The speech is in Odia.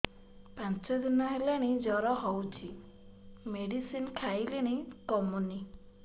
ପାଞ୍ଚ ଦିନ ହେଲାଣି ଜର ହଉଚି ମେଡିସିନ ଖାଇଲିଣି କମୁନି